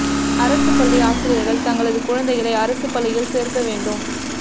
அரசு பள்ளி ஆசிரியர்கள் தங்களது குழந்தைகளை அரசு பள்ளியில் சேர்க்க வேண்டும்